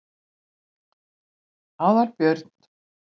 Aðalbjörn